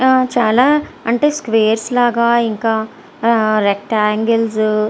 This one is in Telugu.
చాల అంటే సక్కుఅరెస్ లాగా ఇంకా రెక్టన్గ్లేస్ --